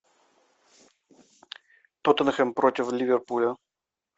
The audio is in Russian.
тоттенхэм против ливерпуля